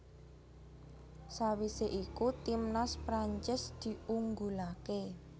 Sawisé iku timnas Prancis diunggulaké